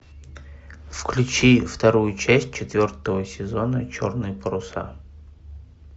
включи вторую часть четвертого сезона черные паруса